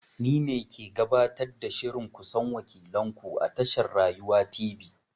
Ni ne ke gabatar da shirin ku san wakilan ku a tashar Rayuwa Tv.